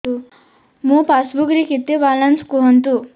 ମୋ ପାସବୁକ୍ ରେ କେତେ ବାଲାନ୍ସ କୁହନ୍ତୁ